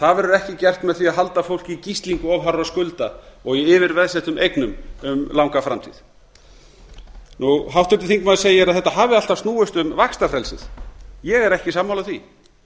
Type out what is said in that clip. það verður ekki gert með því að halda fólki í gíslingu of hárra skulda og í yfirveðsettum eignum um langa framtíð háttvirtur þingmaður segir að þetta hafi alltaf snúist um vaxtafrelsi ég er ekki sammála því